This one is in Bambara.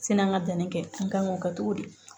Sani an ka danni kɛ an ka ŋ'o kɛ togo di